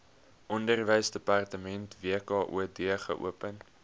onderwysdepartement wkod geopen